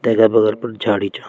तैका बगल पर झाड़ी छा।